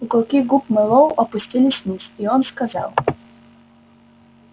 уголки губ мэллоу опустились вниз и он сказал